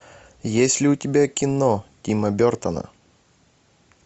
есть ли у тебя кино тима бертона